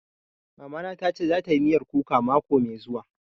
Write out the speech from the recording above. Mama na ta ce za ta yi miyar kuka mako mai zuwa